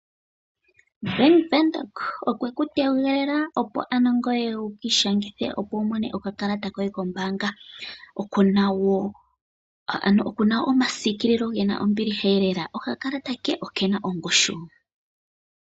Bank windhoek okwe ku tegelela opo ano ngoye wu ki ishangithe wu mone okakalata koye kombaanga. Okuna woo omasikililo gena ombiliha lela . Okakalata ke okena ongushu